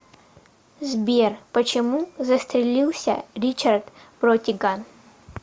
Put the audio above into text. сбер почему застрелился ричард бротиган